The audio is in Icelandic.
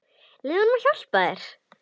Leyfðu honum að hjálpa þér.